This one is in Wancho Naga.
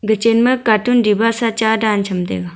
chen ma katun diba sa cha dan cham taiga.